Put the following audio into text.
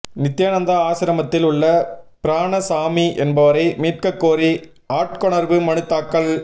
நித்தியானந்தா ஆசிரமத்தில் உள்ள பிராணசாமி என்பவரை மீட்கக்கோரி ஆட்கொணர்வு மனு தாக்கல்